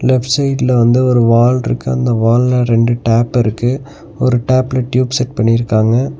Left சைடுல வந்து ஒரு வால் இருக்கு அந்த வால்ல ரெண்டு டேப்பு இருக்கு ஒரு டேப்ல டியூப் செட் பண்ணிருக்காங்க.